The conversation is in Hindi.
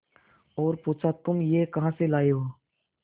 और पुछा तुम यह कहा से लाये हो